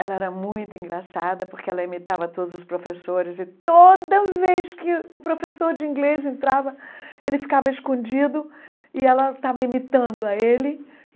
Ela era muito engraçada, porque ela imitava todos os professores, e toda vez que o professor de inglês entrava, ele ficava escondido, e ela estava imitando a ele.